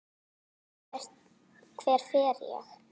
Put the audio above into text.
Hver fer ég?